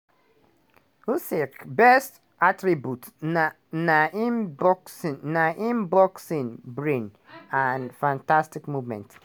usyk best attribute na im boxing na im boxing brain and fantastic movement.